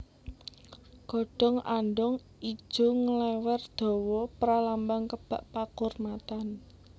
Godhong andhong ijo nglèwèr dawa pralambang kebak pakurmatan